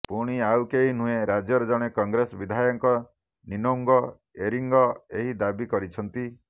ପୁଣି ଆଉ କେହି ନୁହେଁ ରାଜ୍ୟର ଜଣେ କଂଗ୍ରେସ ବିଧାୟକ ନିନୋଙ୍ଗ ଏରିଙ୍ଗ ଏହି ଦାବି କରିଛନ୍ତି